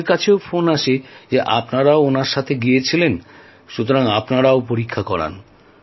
আমাদের কাছে ফোন আসে যে আপনারাও ওঁর সঙ্গে গিয়েছিলেন সুতরাং আপনারাও পরীক্ষা করান